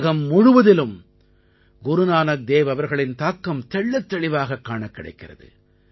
உலகம் முழுவதிலும் குருநானக் தேவ் அவர்களின் தாக்கம் தெள்ளத்தெளிவாகக் காணக் கிடைக்கிறது